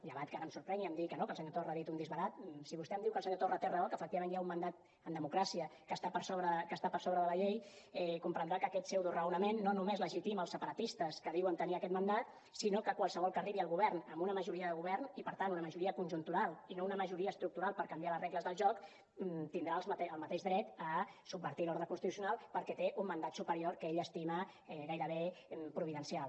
llevat que ara em sorprengui i em digui que no que el senyor torra ha dit un disbarat si vostè em diu que el senyor torra té raó que efectivament hi ha un mandat en democràcia que està per sobre de la llei comprendrà que aquest pseudoraonament no només legitima el separatistes que diuen tenir aquest mandat sinó qualsevol que arribi al govern amb una majoria de govern i per tant amb una majoria conjuntural i no una majoria estructural per canviar les regles del joc tindrà el mateix dret a subvertir l’ordre constitucional perquè té un mandat superior que ell estima gairebé providencial